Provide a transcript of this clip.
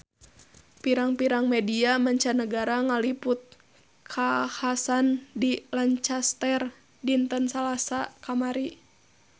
Pirang-pirang media mancanagara ngaliput kakhasan di Lancaster dinten Salasa kamari